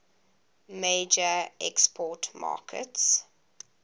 major export market